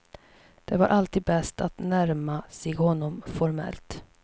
Det var alltid bäst att närma sig honom formellt.